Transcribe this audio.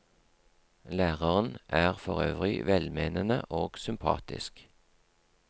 Læreren er forøvrig velmenende og sympatisk.